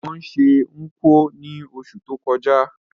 Wón se Nkwo ni osù to kojá